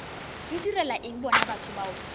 ntirela eng bona batho bao